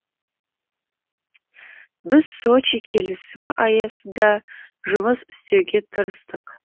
біз сочи келісімі аясында жұмыс істеуге тырыстық